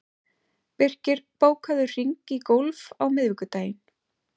Birkir, bókaðu hring í golf á miðvikudaginn.